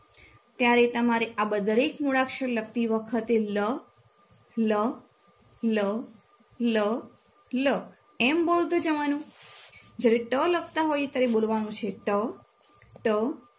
ત્યારે તમારે આબ દરેક મૂળાક્ષર લખતી વખતે લ લ લ લ લ એમ બોલતું જવાનું જ્યારે ટ લખતા હોય ત્યારે બોલવાનું છે ટ ટ